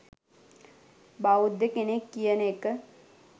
බෞද්ධ කෙනෙක් කියන එක